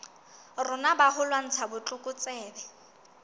rona ba ho lwantsha botlokotsebe